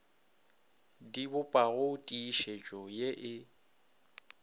di bopago tiišetšo ye e